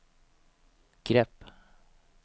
grepp